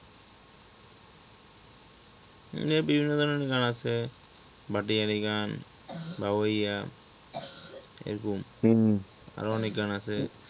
গানের বিভিন্ন ধরনের গান আছে ভাটিয়ালি গান বাউরিয়া এরকম আরো অনেক গান আছে।